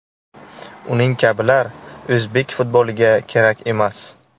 Uning kabilar o‘zbek futboliga kerak emas.